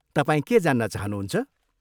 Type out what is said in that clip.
तपाईँ के जान्न चहानुहुन्छ?